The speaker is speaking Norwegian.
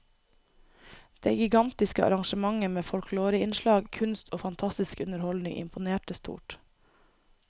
Det gigantiske arrangementet med folkloreinnslag, kunst og fantastisk underholdning imponerte stort.